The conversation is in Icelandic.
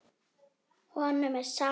Honum er sama.